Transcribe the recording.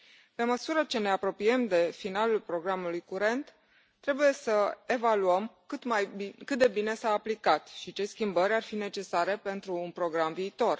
Pe măsură ce ne apropiem de finalul programului curent, trebuie să evaluăm cât de bine s a aplicat și ce schimbări ar fi necesare pentru un program viitor.